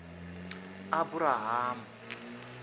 aburahamu